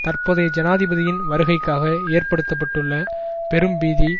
தற்போதைய ஜனாதிபதியின் வருகைக்காக ஏற்படுத்த பட்டுள்ள பெரும்பீதி